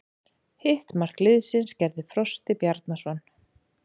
Hitt mark liðsins gerði Frosti Bjarnason.